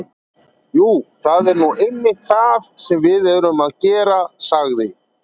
Jú, það er nú einmitt það sem við erum að gera- sagði